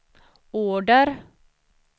order